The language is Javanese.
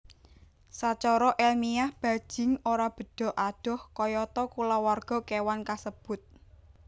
Sacara elmiah bajing ora bedha adoh kayata kulawarga kéwan kasebut